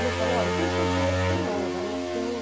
E eu falo, olha, tem gente ainda que tem honra, né? Que tem...